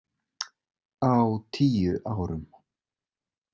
Á tíu árum.